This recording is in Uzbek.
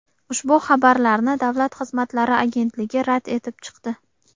Ushbu xabarlarni Davlat xizmatlari agentligi rad etib chiqdi.